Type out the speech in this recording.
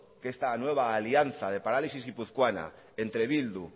que esta nueva alianza de parálisis guipuzcoana entre bildu